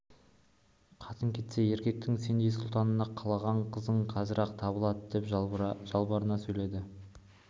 қатын кетсе еркектің сендей сұлтанына қалаған қызың қазір-ақ табылады деп жалбарына сөйледі